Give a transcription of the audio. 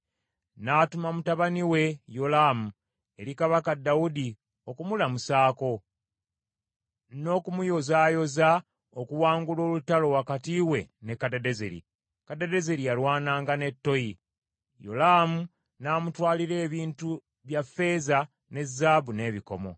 n’atuma mutabani we Yolaamu eri kabaka Dawudi okumulamusaako, n’okumuyozaayoza okuwangula olutalo wakati we ne Kadadezeri. Kadadezeri yalwananga ne Toyi. Yolaamu n’amutwalira ebintu bya ffeeza ne zaabu n’ebikomo.